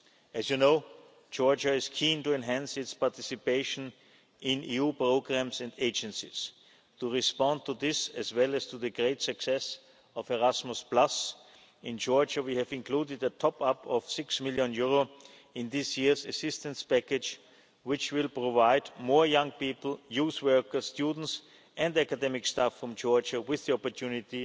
As you know, Georgia is keen to enhance its participation in EU programmes and agencies. To respond to this, as well as to the great success of Erasmus, in Georgia we have included a top up of EUR six million in this year's assistance package, which will provide more young people, youth workers, students and academic staff from Georgia with the opportunity